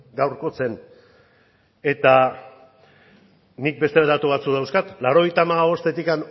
gaurkotzen eta nik beste datu batzuk dauzkat laurogeita hamabostetik